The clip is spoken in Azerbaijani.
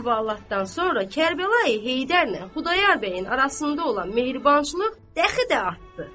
Bu əhvalatdan sonra Kərbəlayi Heydərlə Xudayar bəyin arasında olan mehribançılıq dəxi də artdı.